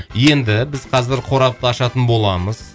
енді біз қазір қорапты ашатын боламыз